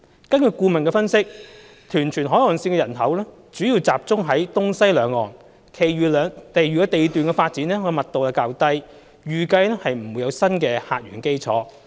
根據顧問的分析，屯荃海岸線的人口主要集中在東西兩端，其餘地段的發展密度較低，預計不會有新的客源基礎。